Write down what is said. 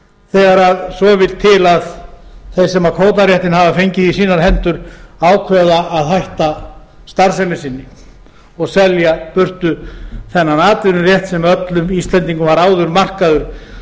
þegar svo vill til að þeir sem kvótaréttinn hafa fengið í sínar hendur ákveða að hætta starfsemi sinni og selja burtu þennan atvinnurétt sem öllum íslendingum var áður markaður